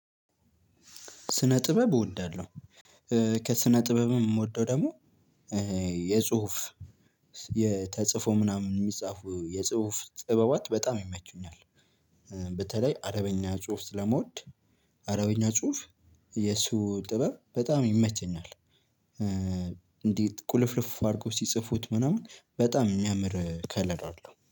ስነ ጥበብ እወዳለሁ ከስነ ጥበብም የምወደው ደግሞ የጽሁፍ የተጽፎ ምናምን የሚጻፉ የጽሁፍ ጥበባት በጣም ይመቹኛል። በተለይ አረበኛ ጽሁፍ ስለመውድ አረበኛ ጽሁፍ የሱ ጥበብ በጣም ይመቸኛል እንዴት ቁልፍልፍ አድርጎ ሲጽፉት ምናምን በጣም የሚያምር ከለር አለው።